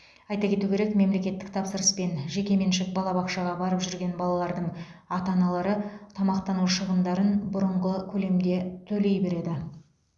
айта кету керек мемлекеттік тапсырыспен жекеменшік балабақшаға барып жүрген балалардың ата аналары тамақтану шығындарын бұрынғы көлемде төлей береді